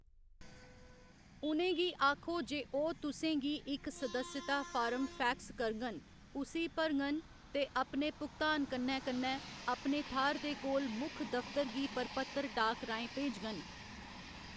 उ'नेंगी आखो जे ओह्‌‌ तुसें गी इक सदस्यता फार्म फैक्स करङन, उस्सी भरङन, ते अपने भुगतान कन्नै कन्नै अपने थाह्‌‌‌र दे कोल मुक्ख दफतर गी प्रपत्र डाक राहें भेजङन।